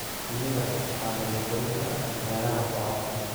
Shinnida waxaa lagu korin karaa beeraha bocorka.